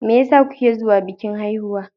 Me yasa kuke zo bikin haihuwa?